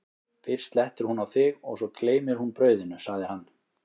fyrst slettir hún á þig og svo gleymir hún brauðinu, sagði hann.